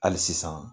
Hali sisan